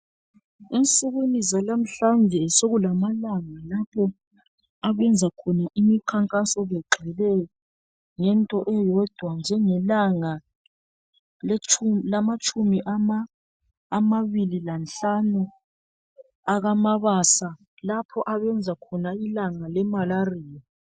Ensukwini zanamuhlanje sokulamalanga lapho abenza khona imikhankaso begqile ngento eyodwa njengelanga lamatshumi amabili lanhlanu akamabasa lapha abenza khona ilanga leMalaria.